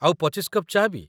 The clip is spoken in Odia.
ଆଉ ୨୫ କପ୍ ଚା' ବି ।